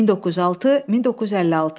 1906, 1956.